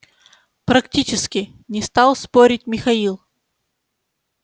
практически не стал спорить михаил